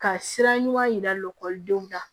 Ka sira ɲuman yira lɔgɔlidenw la